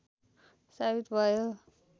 सावित भयो